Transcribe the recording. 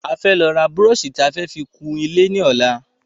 A fẹ́ lọ ra búrọ̀sì tí a fẹ fi kun ilé ní ọ̀la